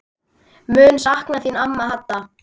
Mun sakna þín amma Hadda.